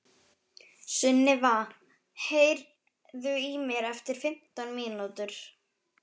Sunniva, heyrðu í mér eftir fimmtán mínútur.